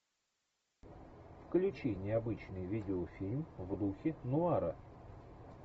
включи необычный видеофильм в духе нуара